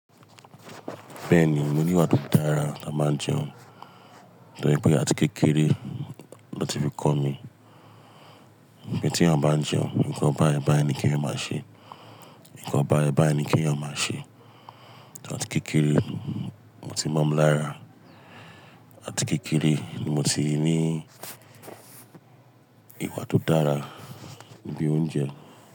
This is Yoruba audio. Bẹ́ẹ̀ ni, mo ní ìwà tó dára tá bá jẹun, to je pé àti kékeré ni wón ti fi kọ́ mi. Ìgbà tí eeyan bá jẹun, nǹkan bá bá ẹ ni kí ẹ̀eyan má ṣe, nǹkan bá bá ẹ ni kí ẹ̀eyan má ṣe. Àti kékeré ni o ti mo mi ń lára, àti kékeré ni mo ti ní ìwà tó dára níbi oúnjẹ.